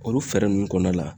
Olu fɛɛrɛ nunnu kɔnɔna la